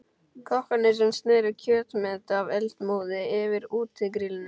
Kokkarnir sem sneru kjötmeti af eldmóði yfir útigrillinu.